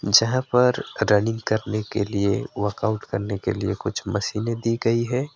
जहां पर रनिंग करने के लिए वर्कआउट करने के लिए कुछ मशीनें दी गई है।